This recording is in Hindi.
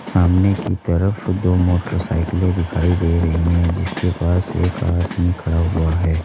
सामने की तरफ दो मोटरसाइकिलें दिखाई दे रही है जिसके पास एक आदमी खड़ा हुआ है।